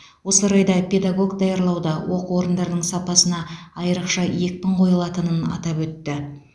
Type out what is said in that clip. осы орайда педагог даярлауда оқу орындарының сапасына айрықша екпін қойылатынын атап өтті